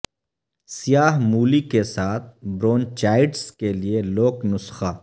سیاہ مولی کے ساتھ برونچائٹس کے لئے لوک نسخہ